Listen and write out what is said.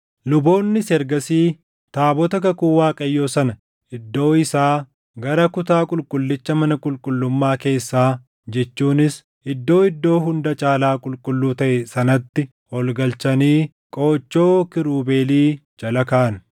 Luboonnis ergasii taabota kakuu Waaqayyoo sana iddoo isaa gara kutaa qulqullicha mana qulqullummaa keessaa jechuunis Iddoo Iddoo Hunda Caalaa Qulqulluu taʼe sanatti ol galchanii qoochoo kiirubeelii jala kaaʼan.